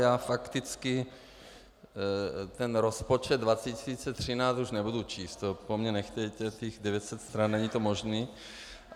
Já fakticky ten rozpočet 2013 už nebudu číst, to po mně nechtějte, těch 900 stran, není to možné.